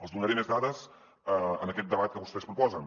els donaré més dades en aquest debat que vostès proposen